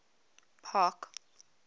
park